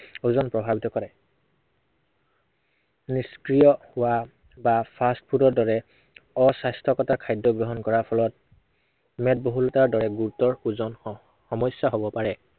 ওজন প্ৰভাবৱিত কৰে। নিষ্ক্ৰিয় বা, বা fast food ৰ দৰে অস্বাস্থ্য়কতা খাদ্য় গ্ৰহণ কৰাৰ ফলত, মেদবহুলতাৰ দৰে গুৰুতৰ ওজন স~সমস্য়া হব পাৰে।